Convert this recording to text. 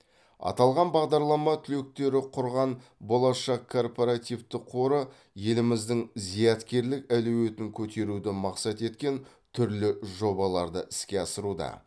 аталған бағдарлама түлектері құрған болашақ корпоративтік қоры еліміздің зияткерлік әлеуетін көтеруді мақсат еткен түрлі жобаларды іске асыруда